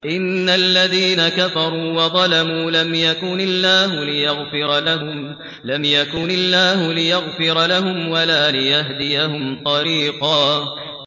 إِنَّ الَّذِينَ كَفَرُوا وَظَلَمُوا لَمْ يَكُنِ اللَّهُ لِيَغْفِرَ لَهُمْ وَلَا لِيَهْدِيَهُمْ طَرِيقًا